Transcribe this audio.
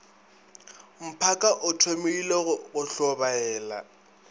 mphaka o thomile go tlhobaela